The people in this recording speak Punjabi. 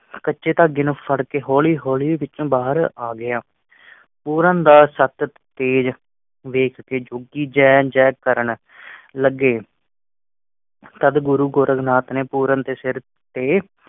ਕੱਚੇ ਧਾਗੇ ਨੂੰ ਫੜ ਕੇ ਹੌਲੀ-ਹੌਲੀ ਵਿਚੋਂ ਬਾਹਰ ਆ ਗਿਆ। ਪੂਰਨ ਦਾ ਸਤ ਤੇਜ ਵੇਖ ਕੇ ਜੋਗੀ ਜੈ-ਜੈ ਕਰਨ ਲੱਗੇ। ਤਦ ਗੁਰੂ ਗੋਰਖ ਨਾਥ ਨੇ ਪੂਰਨ ਦੇ ਸਿਰ ਤੇ